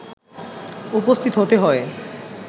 উপস্থিত হতে হয়